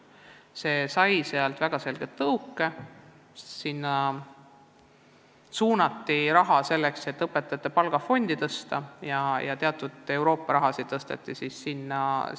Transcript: Sinna suunati raha selgelt selleks, et õpetajate palgafondi suurendada, seejuures tõsteti sinna ka teatud Euroopa summad.